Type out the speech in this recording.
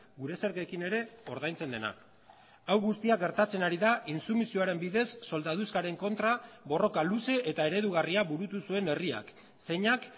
gure zergekin ere ordaintzen dena hau guztia gertatzen ari da intsumisioaren bidez soldaduskaren kontra borroka luze eta eredugarria burutu zuen herriak zeinak